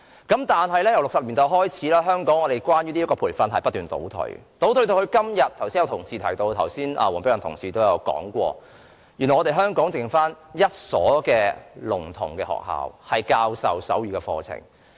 不過，由1960年代開始，這項培訓卻不斷倒退，正如黃碧雲議員剛才提到，香港時至今天原來只餘下一所聾童學校教授手語課程。